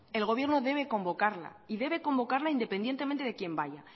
el gobierno debe convocarla y debe convocarla independientemente de quien vaya